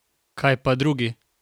Kaj pa drugi?